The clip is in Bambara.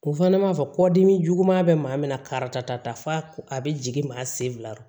O fana b'a fɔ kɔdimi juguya bɛ maa min na karita ta fa a bɛ jigin maa sen fila